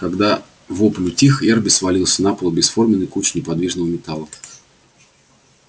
когда вопль утих эрби свалился на пол бесформенной кучей неподвижного металла